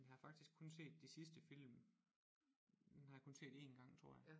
Men jeg har faktisk kun set de sidste film dem har jeg kun set én gang tror jeg